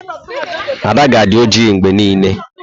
Ada ga-adị ojii mgbe niile.